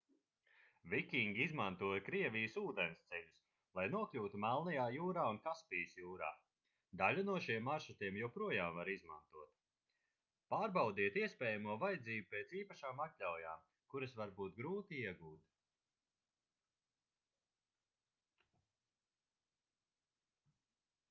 vikingi izmantoja krievijas ūdensceļus lai nokļūtu melnajā jūrā un kaspijas jūrā daļu no šiem maršrutiem joprojām var izmantot pārbaudiet iespējamo vajadzību pēc īpašām atļaujām kuras var būt grūti iegūt